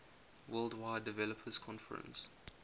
worldwide developers conference